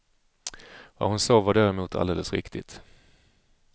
Vad hon sa var däremot alldeles riktigt.